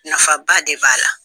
Nafa ba de b'a la.